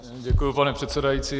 Děkuji, pane předsedající.